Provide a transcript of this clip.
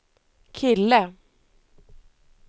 kille